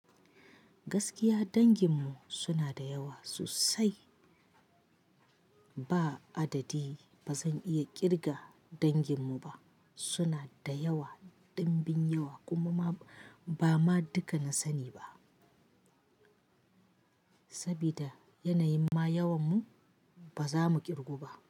Gaskiya danginmu suna da yawa sosai. Ba adadi ba zan iya ƙirga danginmu ba. Suna da yawa, ɗimbin yawa kuma ba ma duka na sa ni ba. Sabida yanayin ma yawarmu ba za mu ƙirgu ba.